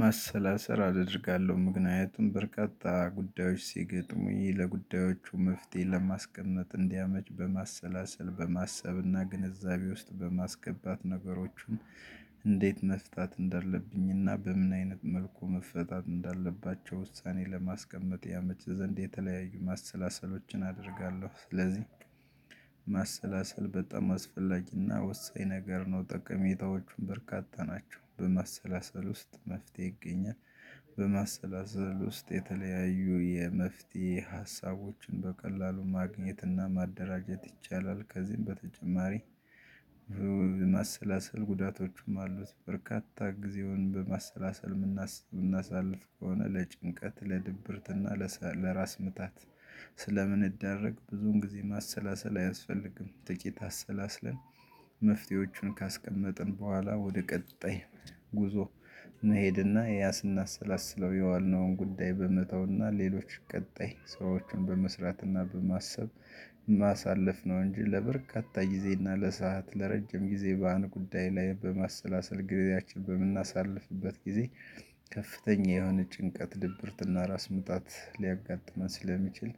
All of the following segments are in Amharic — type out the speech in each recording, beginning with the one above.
ማሰላሰል አደርጋለሁ ምክንያቱም በርካታ ጉዳዮች ሲገጥሙ ይሄ ለጉዳዮቹ መፍትሄ ለማስቀመጥ እንዲያመች በማሰላሰል በማሰብና ግንዛቤ ውስጥ በማስገባት ነገሮችን እንዴት መፍታት እንዳለብኝና በምን አይነት መልኩ መፈታት እንዳለባቸው ውሳኔ ለማስቀመጥ ያመች ዘንድ የተለያዩ ማሰላሰሎችን አደርጋለሁ። ስለዚህ ማሰላሰል በጣም አስፈላጊና ወሳኝ ነገር ነው ጥቅሜታዎቹን በርካታ ናቸው በማሰላሰል ውስጥ መፍትሄ ይገኛል። በማሰላሰል ውስጥ የተለያዩ የመፍትሄ ሀሳቦችን በቀላሉ ማግኘትና ማደራጀት ይቻላል። ከዚህም በተጨማሪ ማሰላሰል ጉዳቶቹም አሉት። በርካታ ጊዜውን በማሰላሰል የምናስብ የምናሳልፍ ከሆነ ለጭንቀት ለድብርት ለራስ ምታት ስለምንዳረግ ብዙን ጊዜ ማሰላሰል አያስፈልግም ጥቂት አሰላስለን። መፍትሄዎቹን ካስቀመጥን በኋላ ወደ ቀጣይ ጉዞ መሄድና ያ ያስና ሰላስለው የዋልነውን ጉዳይ በመተውና ሌሎች ቀጣይ ሰዎችን በመስራትና በማሰብ ማሳለፍ ነው። እንጂ ለበርካታ ጊዜና ለሰአት ለረጅም ጊዜ በአንድ ጉዳይ ላይ በማሰላሰል ጊዜያችን በምናሳልፍበት ጊዜ። ከፍተኛ የሆነ ጭንቀት ድብርትና ራስ ምታት ሊያጋጥመን ስለሚችል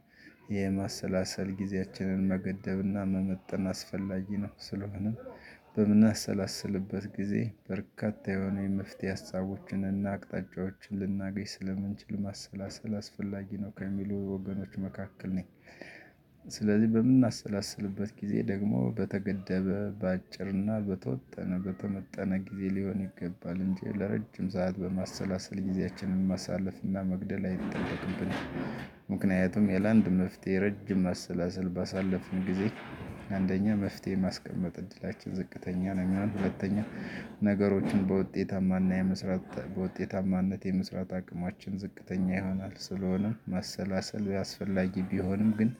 የማሰላሰል ጊዜያችንን መገደብና መመጠን አስፈላጊ ነው። ስለሆነ በምናሰላስልበት ጊዜ በርካታ የሆነ የመፍትሄ ሀሳቦችን እና አቅጣጫዎችን ልናገኝ ስለምንችል ማሰላሰል አስፈላጊ ነው ከሚሉ ወገኖች መካከል ነኝ። ስለዚህ በምናሰላስልበት ጊዜ ደግሞ በተገደበ በአጭርና በተወጠነ በተመጠነ ጊዜ ሊሆን ይገባል እንጂ ለረጅም ሰዓት በማሰላሰል ጊዜያችንን ማሳለፍና መግደል አይጠብቅብንም። ምክንያቱም ያለ አንድ መፍትሄ ረጅም አሰላሰል ባሳለፍን ጊዜ አንደኛ መፍትሄ የማስቀመጥ እድላችን ዝቅተኛ ነው የሚሆነው። ሁለተኛ ነገሮችን በውጤታማና የመስራት በውጤታማነት የመስራት አቅማችን ዝቅተኛ ይሆናል። ስለሆነም መሰላሰል ያስፈልጋል። ቢሆንም ግን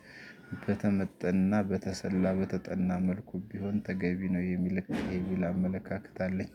በተመጠንና በተሰላ በተጠና መልኩ ቢሆን ተገቢ ነው የሚል አመለካከት አለኝ።